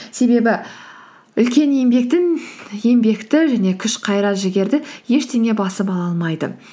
себебі үлкен еңбекті және күш қайрат жігерді ештеңе басып ала алмайды